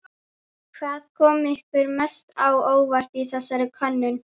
Hvað kom ykkur mest á óvart í þessari könnun?